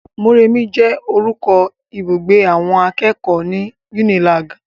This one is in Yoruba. Mọ́remí jẹ́ orúkọ ibùgbé awọn akẹ́kọ̀ọ́ ní Unilag.